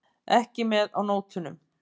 Ekki með á nótunum.